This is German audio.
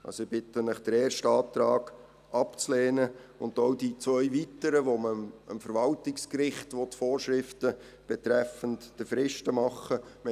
Also: Ich bitte Sie, den ersten Antrag abzulehnen und auch die zwei weiteren, wo man dem Verwaltungsgericht Vorschriften betreffend die Fristen machen will.